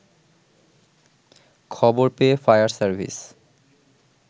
খবর পেয়ে fire service